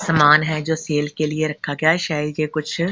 सामान है जो सेल के लिए रखा गया है शायद ये कुछ--